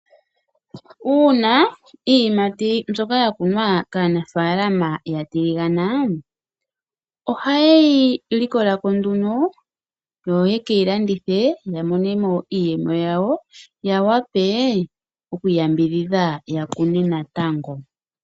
Uuna iimati ndjoka yakunwa kaanafaalama yatiliganaa, ohayeyi likolako nduno yoyekei landithe yamonemo iiyemo yawo, yawapee okwii yambidhidha yakune naatango.